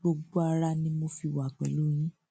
gbogbo ara ni mo fi wà pẹlú yín